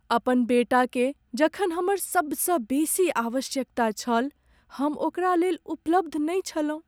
अपन बेटाकेँ जखन हमर सबसँ बेसी आवश्यकता छल, हम ओकरा लेल उपलब्ध नहि छलहुँ।